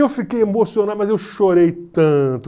Eu fiquei emocionado, mas eu chorei tanto.